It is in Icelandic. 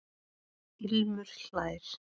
Ilmur hlær.